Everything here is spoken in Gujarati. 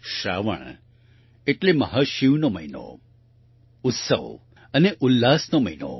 શ્રાવન એટલે મહાશિવનો મહિનો ઉત્સવ અને ઉલ્લાસનો મહિનો